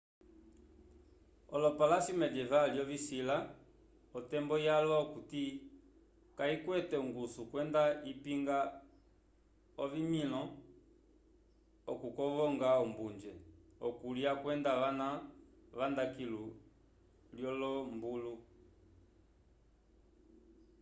opalasyo mendyeval lyovisila otembo yalwa okuti kayikwete ongusu kwenda ipinga ovimĩlo okukovonga ombunje okulya kwenda vana vanda kilu lyolombulu